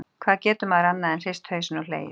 Hvað getur maður annað en hrist hausinn og hlegið?